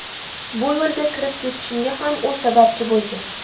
Bu yo‘lga kirib ketishimga ham u sababchi bo‘lgan.